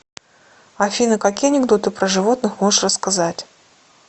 афина какие анекдоты про животных можешь рассказать